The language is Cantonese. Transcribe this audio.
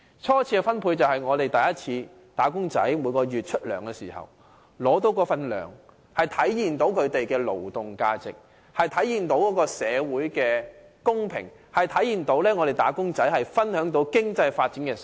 初次分配是指"打工仔"每月獲發工資，這體現了他們的勞動價值，體現了他們能夠分享經濟發展成果，體現了社會的公平。